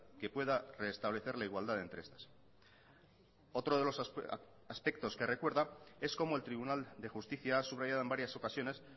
que pueda reestablecer la igualdad entre estas otro de los aspectos que recuerda es como el tribunal de justicia ha subrayado en varias ocasiones